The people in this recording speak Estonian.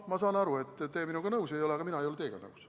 Ma saan aru, et te minuga nõus ei ole, aga ka mina ei ole teiega nõus.